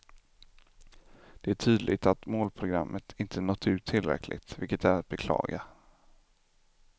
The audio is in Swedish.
Det är tydligt att målprogrammet inte nått ut tillräckligt, vilket är att beklaga.